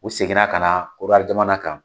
U seginna ka na Korowari jamana kan.